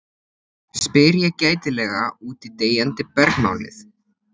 spyr ég gætilega út í deyjandi bergmálið.